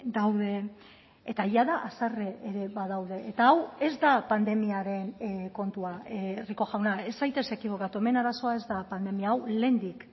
daude eta jada haserre ere badaude eta hau ez da pandemiaren kontua rico jauna ez zaitez ekibokatu hemen arazoa ez da pandemia hau lehendik